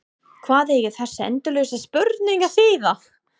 Hvað eiga þessar endalausu spurningar að þýða?